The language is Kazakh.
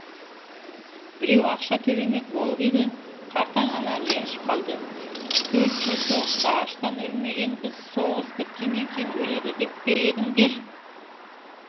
біреу ақша төлемек болып еді қартаң ана ренжіп қалды төрт жыл соғыста аштан өлмеген біз соғыс біткеннен кейін өледі деп пе едіңдер